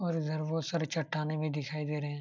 और इधर बहुत सारे चट्टानें भी दिखाई दे रहे हैं।